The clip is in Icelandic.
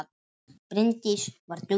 Bryndís var dugleg.